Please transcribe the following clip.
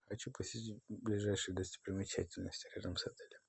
хочу посетить ближайшие достопримечательности рядом с отелем